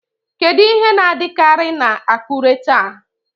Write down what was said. Kedu ihe na-adịkarị na Akure taa?